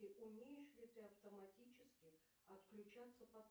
умеешь ли ты автоматически отключаться